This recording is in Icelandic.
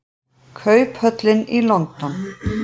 Kauphöllin í London.